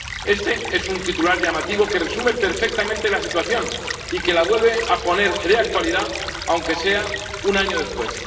Este es un titular llamativo que resume perfectamente la situación y que la vuelve a poner de actualidad, aunque sea un año después.